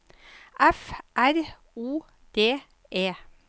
F R O D E